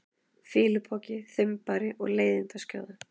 fýlupoki, þumbari og leiðindaskjóða?